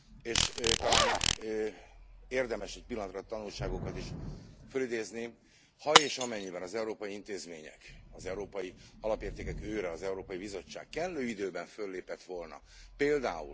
És talán érdemes egy pillanatra a tanulságokat is fölidézni ha és amennyiben az európai intézmények, illetve az európai alapértékek őre az Európai Bizottság kellő időben föllépett volna pl.